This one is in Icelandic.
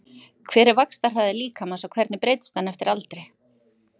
Hver er vaxtarhraði líkamans og hvernig breytist hann eftir aldri?